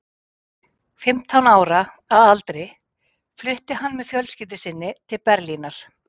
Fimmtán ára að aldri flutti hann með fjölskyldu sinni til Berlínar.